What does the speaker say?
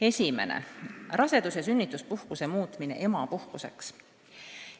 Esiteks, rasedus- ja sünnituspuhkuse muutmine emapuhkuseks.